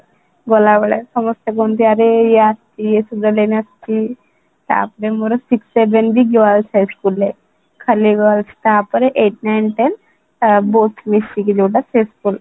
ଗଲାବେଳେ ସମସ୍ତେ କୁହନ୍ତି ଆରେ ଇୟେ ଆସିଛି ଆସିଛି ତାପରେ ମୋର sixth seventh ବି girls' high school ରେ ଖାଲି girls ତାପରେ eight, ninth, tenth both ମିଶିକି ଯୋଉଟା ସେ school